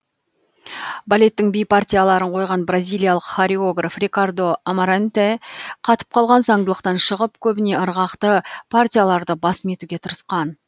балеттің би партияларын қойған бразилиялық хореограф рикардо амаранте қатып қалған заңдылықтан шығып көбіне ырғақты партияларды басым етуге тырысқан